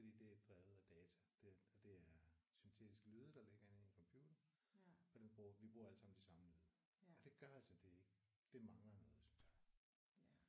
Fordi det er drevet af data det og det er syntetiske lyde der ligger inde i computeren og dem bruger vi bruger alle sammen de samme lyde. Og det gør altså at det ikke det mangler noget synes jeg